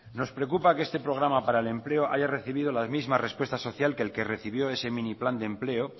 nos preocupa que este programa para el empleo haya recibido la misma respuesta social que el que recibió ese mini plan de empleo